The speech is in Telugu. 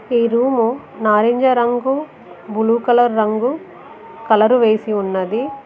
ఈ రూము నారింజ రంగు బులు కలర్ రంగు కలరు వేసి ఉన్నది.